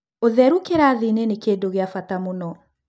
Ũtheru kĩrathi-inĩ nĩ kĩndũ gĩa bata muno.